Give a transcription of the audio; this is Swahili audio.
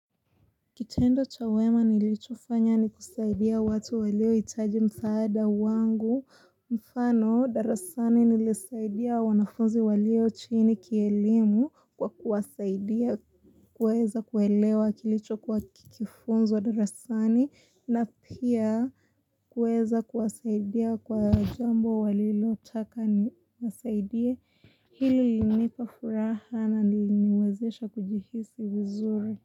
Kitendo cha wema nilichofanya ni kusaidia watu waliohitaji msaada wangu mfano, darasani nilisaidia wanafunzi walio chini kielimu kwa kuwasaidia kuweza kuelewa kilichokuwa kikifunzwa darasani na pia kuweza kuwasaidia kwa jambo walilotaka niwasaidie hili liliniipa furaha na liliniwezesha kujihisi vizuri.